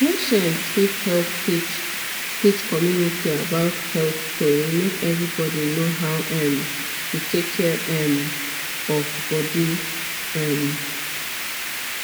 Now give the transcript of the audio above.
patients fit help teach teach community about health tori make everybody know how um to take care um of body um